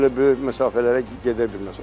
Yəni çox elə böyük məsafələrə gedə bilməz.